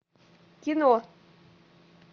кино